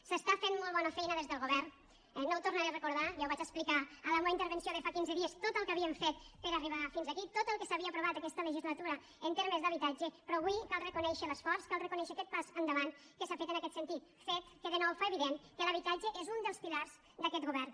s’està fent molt bona feina des del govern no ho tornaré a recordar ja ho vaig explicar a la meua intervenció de fa quinze dies tot el que havíem fet per a arribar fins aquí tot el que s’havia aprovat aquesta legislatura en termes d’habitatge però avui cal reconèixer l’esforç cal reconèixer aquest pas endavant que s’ha fet en aquest sentit fet que de nou fa evident que l’habitatge és un dels pilars d’aquest govern